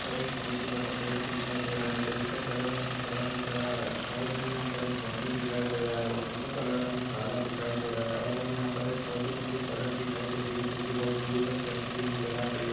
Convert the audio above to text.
--पर एक बहोत ही बड़ा पेड़ दिखाई दे रहा हैं पेड़ का कलर हमे हरा नज़र आ रहा हैं और हमें यहाँ पर एक ऑटो दिखाई दे रहा हैं ऑटो का कलर हमें काला दिखाई दे रहा हैं और हमें यहाँ पर एक बहोत ही लंबी सड़क दिखाई दे रही हैं जो कि बहोत दूर तक जाती हुई नज़र आ रही हैं।